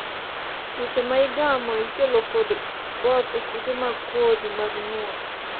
tuoche ma igamo ikelo kod both e kute mag kodhi mag nyuol